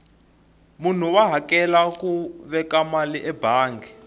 munhu wa hakela ku veka mali ebangi